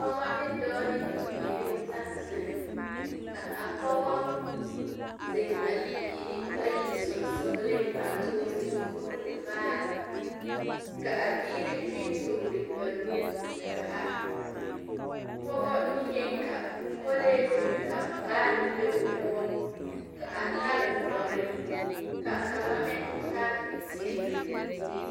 Pͻgͻ ne dͻͻ ne bibiiri la zeŋ ka a pͻgͻ zeŋ a bibiiri bayi sensogeliŋ a toore o nuuri vaare ka a biiri meŋ toore ba nuuri ka a, pͻgͻ niŋeŋ ka kolee biŋ ka vaare be o poͻ ka a tare dͻre ka kaŋa meŋ tare zeere.